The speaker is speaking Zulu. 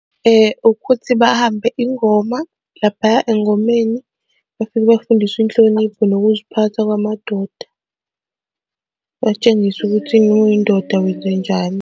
Ukuthi bahambe ingoma laphaya engomeni, befike bafundiswe inhlonipho nokuziphatha kwamadoda, batshengise ukuthi umuyindoda wenzenjani.